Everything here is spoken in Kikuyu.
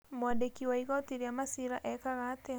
Mwandĩki wa igoti rĩa maciira ekaga atia?